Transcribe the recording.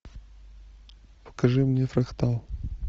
покажи мне фрактал